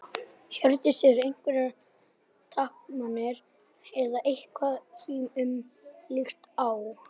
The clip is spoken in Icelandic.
Hjördís: Eru einhverjar takmarkanir eða eitthvað því um líkt á?